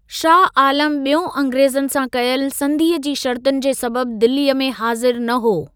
शाह आलम ॿियों अंग्रेज़नि सां कयल संधीअ जी शर्तुनि जे सबबि दिल्लीअ में हाज़िर न हो।